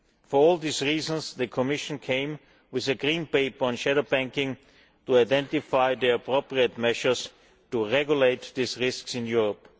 For all these reasons the Commission drafted a Green Paper on shadow banking to identify the appropriate measures to regulate these risks in Europe.